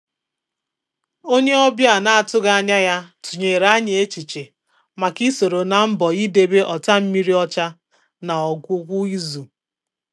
Ónyé ọ́bị̀à nà-àtụ́ghị́ ányà yá tụ́nyèrè ànyị́ échíchè màkà ị́ sòrò nà mbọ̀ ídébè ọ́tàmmírí ọ́chà nà ọ́gwụ́gwụ́ ízù.